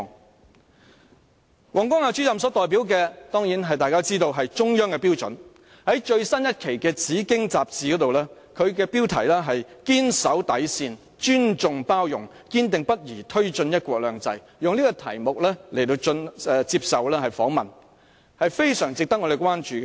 大家當然知道王光亞主任所代表的是中央的標準，在最新一期的《紫荊》雜誌，他以"堅守底線，尊重包容，堅定不移推進'一國兩制'"為題接受訪問，是非常值得我們關注的。